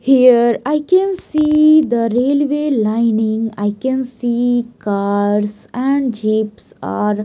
here i can see the railway lining i can see cars and jeeps are --